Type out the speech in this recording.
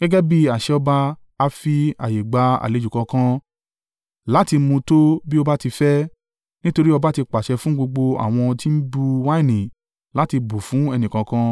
Gẹ́gẹ́ bí àṣẹ ọba a fi ààyè gba àlejò kọ̀ọ̀kan láti mu tó bí ó bá ti fẹ́, nítorí ọba ti pàṣẹ fún gbogbo àwọn ti ń bu wáìnì láti bù fún ẹnìkọ̀ọ̀kan